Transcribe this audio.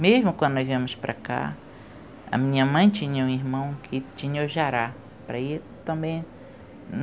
Mesmo quando nós viemos para cá, a minha mãe tinha um irmão que tinha o Jará.